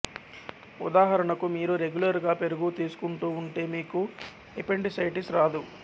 ఉదాహరణకు మీరు రెగ్యులర్ గా పెరుగు తీసుకుంటూ ఉంటే మీకు ఎపెండిసైటిస్ రాదు